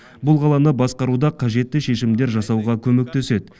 бұл қаланы басқаруда қажетті шешімдер жасауға көмектеседі